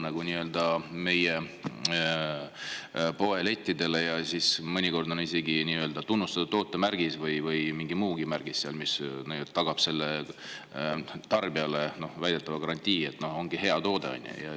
See jõuab meie poelettidele ja mõnikord on sellel isegi tunnustatud toote märgis või mingi muu märgis, mis väidetavalt tagab tarbijale garantii, et see ongi hea toode.